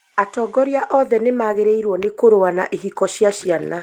Atongoria othe nĩ magĩrĩirwo kũrũa na ihiko cia ciana